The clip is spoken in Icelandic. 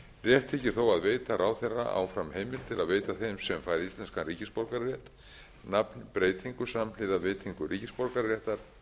rétt þykir þó að veita ráðherra áfram heimild til að veita þeim sem fær íslenskan ríkisborgararétt nafnbreytingu samhliða veitingu ríkisborgararéttar